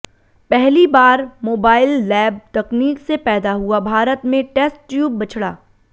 पहली बार mobile lab तकनीक से पैदा हुआ भारत में टेस्ट ट्यूब बछड़ा